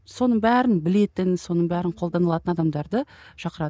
соның бәрін білетін соның бәрін қолданылатын адамдарды шақырады